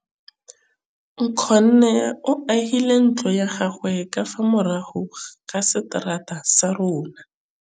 Nkgonne o agile ntlo ya gagwe ka fa morago ga seterata sa rona.